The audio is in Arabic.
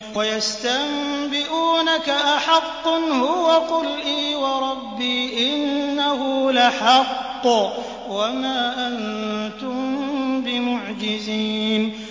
۞ وَيَسْتَنبِئُونَكَ أَحَقٌّ هُوَ ۖ قُلْ إِي وَرَبِّي إِنَّهُ لَحَقٌّ ۖ وَمَا أَنتُم بِمُعْجِزِينَ